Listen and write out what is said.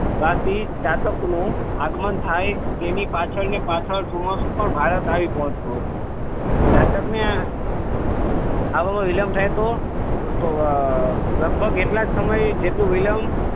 માંથી ચાતક નું આગમન થાય તેની પાછળ ને પાછળ ચોમાસું પણ ભારત આવી પોહચતુ હતું ચાતક ને આવવામાં વિલંબ થાય તો તો લગભગ એટલા જ સમય જેટલું વિલંબ